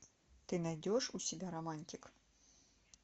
ты найдешь у себя романтик